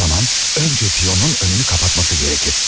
O zaman öncə piyonun önünü qapatması gərəkdir.